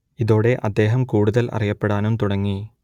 ഇതോടെ അദ്ദേഹം കൂടുതൽ അറിയപ്പെടാനും തുടങ്ങി